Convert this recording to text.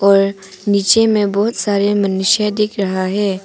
अ नीचे में बहुत सारे मनुष्य दिख रहा है।